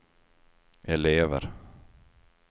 elever